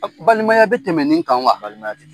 Balimaya bɛ tɛmɛ nin kan wa ? Balimaya tɛ